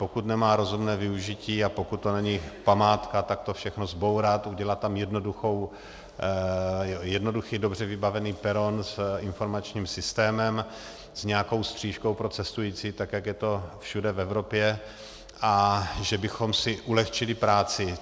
Pokud nemá rozumné využití a pokud to není památka, tak to všechno zbourat, udělat tam jednoduchý, dobře vybavený peron s informačním systémem, s nějakou stříškou pro cestující, tak jak to je všude v Evropě, a že bychom si ulehčili práci.